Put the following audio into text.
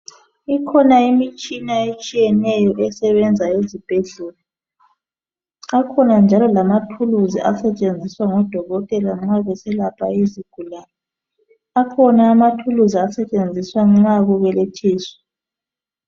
Ikhona imitshina etshiyeneyo esebenza ezibhedlela. Akhona njalo lamathuluzi asetshenziswa ngodokotela nxa beselapha izigulane. Akhona amathuluzi asetshenziswa nxa kubelethiswa .